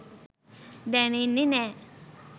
දැනෙන්නෙ නෑ.